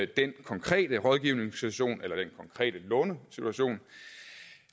den konkrete rådgivningssituation eller den konkrete lånesituation